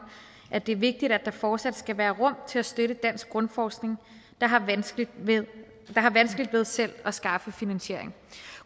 at det er vigtigt at der fortsat skal være rum til at støtte dansk grundforskning der har vanskeligt ved vanskeligt ved selv at skaffe finansiering